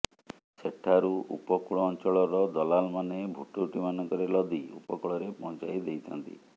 ସେଠାରୁ ଉପକୂଳ ଅଞ୍ଚଳର ଦଲାଲମାନେ ଭୁଟୁଭୁଟିମାନଙ୍କରେ ଲଦି ଉପକୂଳରେ ପହଞ୍ଚାଇ ଦେଇଥାନ୍ତି